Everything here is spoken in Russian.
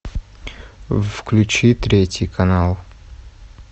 включи третий канал